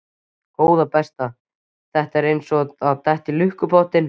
Góða besta. þetta var eins og að detta í lukkupottinn!